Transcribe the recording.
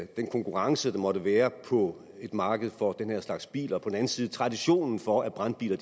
den konkurrence der måtte være på et marked for den her slags biler og på den anden side traditionen for at brandbiler